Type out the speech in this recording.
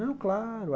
Não, claro.